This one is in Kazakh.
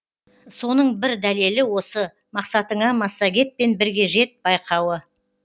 соның бір дәлелі осы мақсатыңа массагетпен бірге жет байқауы